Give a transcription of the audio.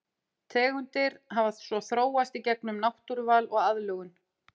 Tegundir hafa svo þróast í gegnum náttúruval og aðlögun.